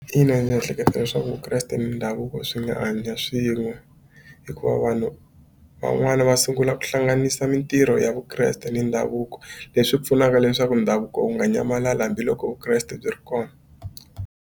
Ina ni ehleketa leswaku vukreste ni ndhavuko swi nga hanya swin'we hikuva vanhu van'wani va sungula ku hlanganisa mitirho ya vukreste ni ndhavuko leswi pfunaka leswaku ndhavuko wu nga nyamalala hambiloko vukreste byi ri kona.